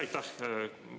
Aitäh!